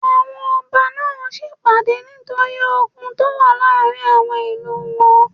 Àwọn ọba náà ń sèpàdé nítorí ogun tó wà láàrin àwọn ìlú wọn